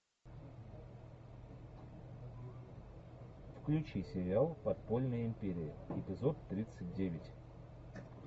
включи сериал подпольная империя эпизод тридцать девять